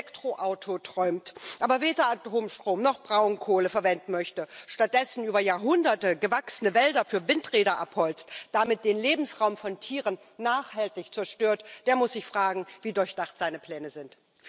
Wer vom Elektroauto träumt, aber weder Atomstrom noch Braunkohle verwenden möchte, stattdessen über Jahrhunderte gewachsene Wälder für Windräder abholzt, damit den Lebensraum von Tieren nachhaltig zerstört, der muss sich fragen, wie durchdacht seine Pläne sind.